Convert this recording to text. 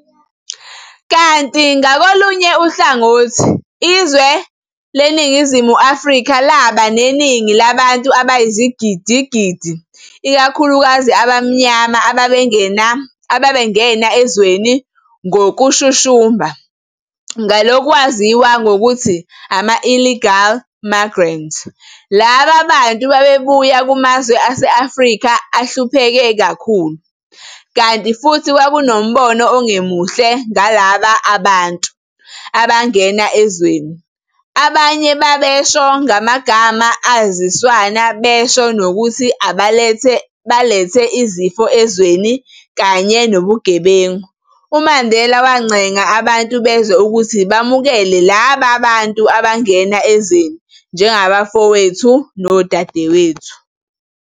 Kanti ngakolunye uhlangothi, izwe leNingizimu Afrika laba neningi labantu abayizigidi-gidi ikakhulukazi abamnyama ababengena ezweni ngokushushumba ngelokwaziwa ngokuthi ama-illegal migrants laba bantu babebuya kumazwe ase-Afrika ahlupheke kakhulu, kanti futhi kwakunombono ongemuhle ngalaba bantu abangena ezweni, abanye babebasho ngamagama aziswana besho nokuthi balethe izifo ezweni kanye nobugebengu, uMandela wancenga abantu bezwe ukuthi bamukele laba bantu abangena ezweni "njengabafowethu nodadewethu".